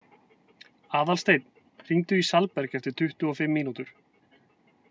Aðalsteinn, hringdu í Salberg eftir tuttugu og fimm mínútur.